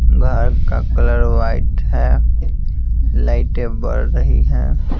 घर का colour white है लाइटें बढ़ रही हैं।